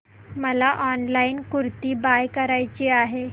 मला online kurti buy करायची आहे